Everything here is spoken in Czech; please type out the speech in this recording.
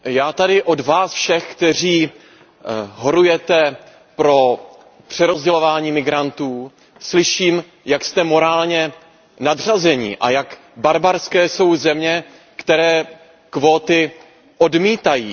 Pane předsedající, já tady od vás všech, kteří horujete pro přerozdělování migrantů, slyším, jak jste morálně nadřazení a jak barbarské jsou země, které kvóty odmítají.